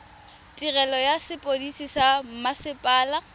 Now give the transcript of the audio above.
tirelo ya sepodisi sa mmasepala